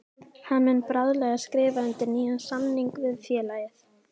Hann muni bráðlega skrifa undir nýjan samning við félagið.